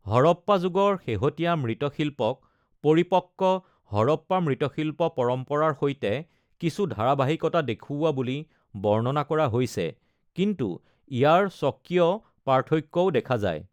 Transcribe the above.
হৰপ্পা যুগৰ শেহতীয়া মৃৎশিল্পক পৰিপক্ক হৰপ্পা মৃৎশিল্প পৰম্পৰাৰ সৈতে কিছু ধাৰাবাহিকতা দেখুওৱা বুলি বৰ্ণনা কৰা হৈছে, কিন্তু ইয়াৰ স্বকীয় পাৰ্থক্যও দেখা যায়।